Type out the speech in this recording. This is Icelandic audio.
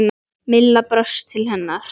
Milla brosti til hennar.